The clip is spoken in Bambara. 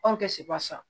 Anw tɛ se barisa